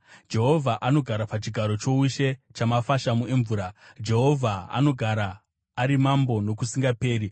Jehovha anogara pachigaro choushe chamafashamu emvura; Jehovha anogara ari Mambo nokusingaperi.